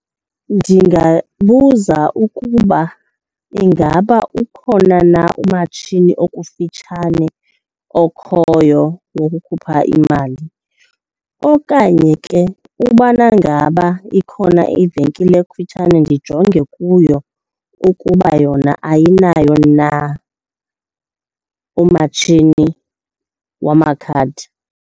Ndingabuza ukuba ingaba ukhona na umatshini okufitshane okhoyo wokukhupha imali. Okanye ke ubana ngaba ikhona ivenkile ekufitshane, ndijonge kuyo ukuba yona ayinayo na umatshini wamakhadi.